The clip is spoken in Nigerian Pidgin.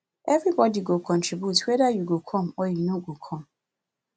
everybodi go contribute moni weda you go come or you no go come